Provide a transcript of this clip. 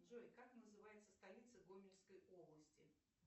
джой как называется столица гомельской области